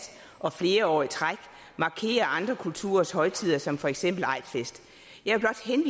og flere år i træk markerer andre kulturers højtider som for eksempel